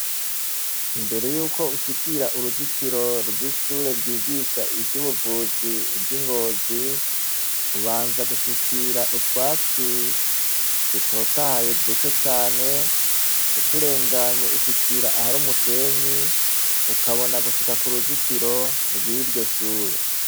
Imbere yuko ushikira uruzitiro rw'ishure ryigisha ivyo ubuvuzi ry'ingozi, ubanza gushikira utwatsi dutotahaye duke cane uturenganye ushikira aha ari umusenyi ukabona gushika ku ruzitiro rw'iryo shure.